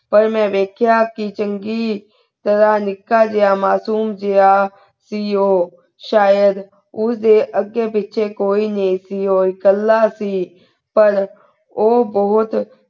ਕਲ ਮੈਂ ਵਾਯ੍ਖ੍ਯਾ ਕੀ ਚੰਗੀ ਤਰਹ ਨਿੱਕਾ ਜਿਯਾ ਮਾਸੂਮ ਸੇ ਗਾ ਸੇ ਊ ਸ਼ਾਹਿਦ ਉਸ ਦੇ ਅਗੀ ਪੀਚੀ ਕੋਈ ਨਾਈ ਸੇ ਊ ਕੱਲਾ ਸੇ ਪਰ ਊ ਬੋਹਤ